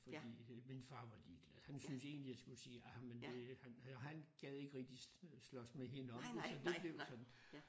Fordi min far var ligeglad han syntes egentlig jeg skulle sige ah men det han han gad ikke slås med hende om det så det blev sådan